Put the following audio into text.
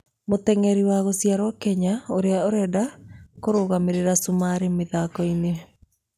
Mũteng'eri wa gũciarĩrwo Kenya ũrĩa ũrenda kũrũgamĩrĩra cumarĩ mĩthako-inĩ.